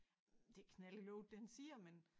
Det knald i låget det han siger men